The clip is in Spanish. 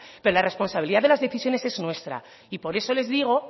pero la responsabilidad de las decisiones es nuestra y por eso les digo